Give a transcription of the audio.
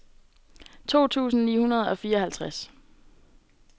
to tusind ni hundrede og fireoghalvtreds